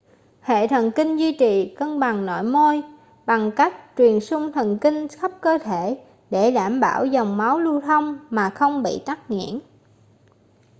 hệ thần kinh duy trì cân bằng nội môi bằng cách truyền xung thần kinh khắp cơ thể để đảm bảo dòng máu lưu thông mà không bị tắc nghẽn